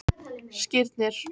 Skírnir